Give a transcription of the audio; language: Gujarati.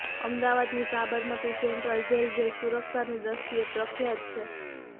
અમદાવાદની સાબરમતી સેન્ટ્રલ જેલ જે સુરક્ષાની દ્રષ્ટિએ પ્રખ્યાત છે